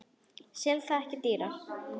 Sel það ekki dýrar.